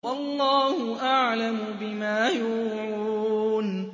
وَاللَّهُ أَعْلَمُ بِمَا يُوعُونَ